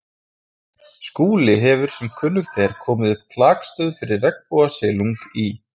Skúli hefur sem kunnugt er komið upp klakstöð fyrir regnbogasilung í